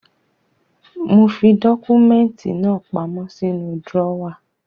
Mo fi dọ́kúmẹ́ntì náà pamọ́ sínú drọ́wà.